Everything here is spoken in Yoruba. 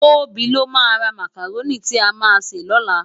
Tobi ló má rá mákáróni ti á má sé lòlá